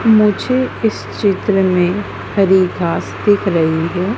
मुझे इस चित्र में हरी घास दिख रही है।